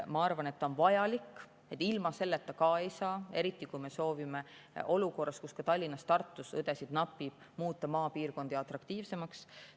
Ma arvan, et see on vajalik, ilma selleta ka ei saa, eriti kui me soovime olukorras, kus ka Tallinnas ja Tartus õdesid napib, muuta maapiirkondi atraktiivsemaks.